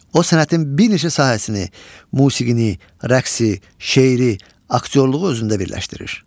O sənətin bir neçə sahəsini, musiqini, rəqsi, şeiri, aktyorluğu özündə birləşdirir.